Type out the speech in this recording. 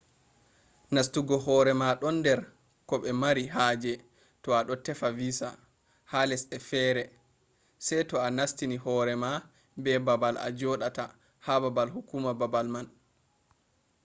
nastungo hore ma do der ko be mari haje to ado tefa visa. ha lesde fere se to a nastini horema be babal a jodata ha baabal hukuma babal man